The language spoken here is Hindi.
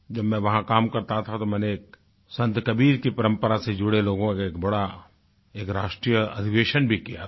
जब मैं वहाँ काम करता था तो मैंने एक संत कबीर की परंपरा से जुड़े लोगों का एक बड़ा एक राष्ट्रीय अधिवेशन भी किया था